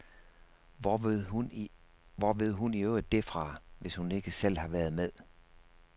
Hvor ved hun i øvrigt dét fra, hvis hun ikke selv har været med ?